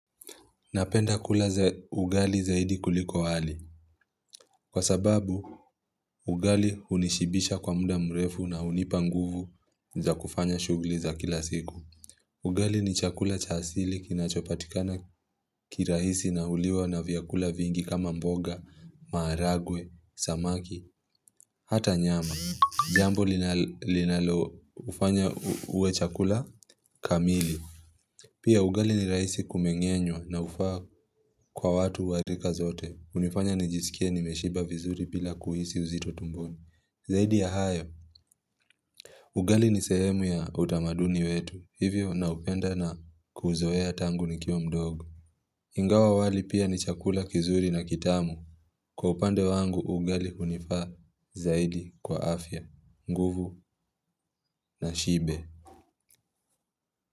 Napenda kula za ugali zaidi kuliko wali. Kwa sababu, ugali hunishibisha kwa muda mrefu na hunipanguvu za kufanya shughuli za kila siku. Ugali ni chakula cha asili kinachopatikana kirahisi na huliwa na vyakula vingi kama mboga, maharagwe, samaki, hata nyama. Jambo linalofanya uwe chakula kamili. Pia ugali ni rahisi kumengenyo na hufaa kwa watu warika zote. Hunifanya nijisikie nimeshiba vizuri bila kuhisi uzito tumboni. Zaidi ya hayo, ugali ni sehemu ya utamaduni wetu. Hivyo naupenda na kuzoea tangu nikiwa mdogo. Ingawa wali pia ni chakula kizuri na kitamu. Kwa upande wangu ugali hunifaa zaidi kwa afya, nguvu na shibe.